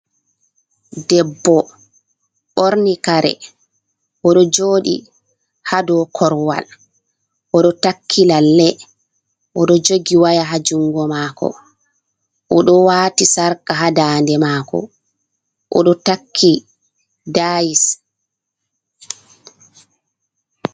Debbo ɓorni kare, o ɗo jooɗi haa dow korowal, o ɗo takki lalle. O ɗo jogi waya haa junngo maako ,o ɗo waati sarka haa daande maako,o ɗo takki dayis.